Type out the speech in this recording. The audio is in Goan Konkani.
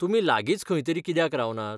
तुमी लागीच खंय तरी कित्याक रावनात?